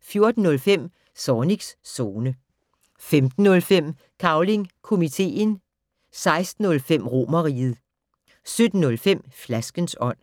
14:05: Zornigs Zone 15:05: Cavling Komiteen 16:05: Romerriget 17:05: Flaskens ånd